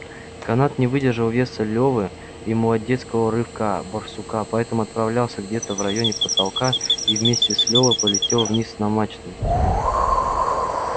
канат не выдержал веса лёвы и молодецкого рывка барсука поэтому оторвался где-то в районе потолка и вместе с лёвой полетел вниз на мачты